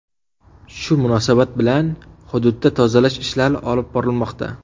Shu munosabat bilan hududda tozalash ishlari olib borilmoqda.